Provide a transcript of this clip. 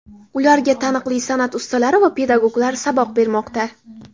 Ularga taniqli san’at ustalari va pedagoglar saboq bermoqda.